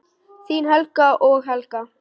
Þín Helgi og Helga.